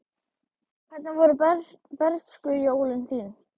Hvernig voru bernskujólin þín?